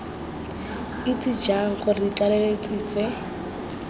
itse jang gore ditlaleletsi tse